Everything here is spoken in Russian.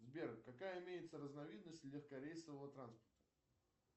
сбер какая имеется разновидность легкорейсового транспорта